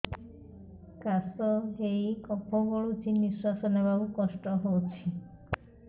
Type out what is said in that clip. କାଶ ହେଇ କଫ ଗଳୁଛି ନିଶ୍ୱାସ ନେବାକୁ କଷ୍ଟ ହଉଛି